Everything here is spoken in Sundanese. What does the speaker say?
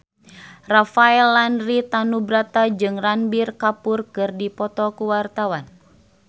Rafael Landry Tanubrata jeung Ranbir Kapoor keur dipoto ku wartawan